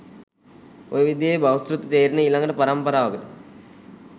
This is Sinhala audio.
ඔය විදියේ බහුසෘත තේරෙන ඊළඟ පරම්පරාවකට